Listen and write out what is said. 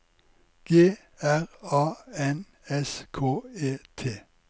G R A N S K E T